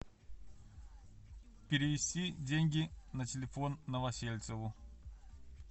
перевести деньги на телефон новосельцеву